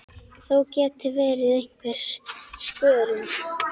Þó geti verið einhver skörun.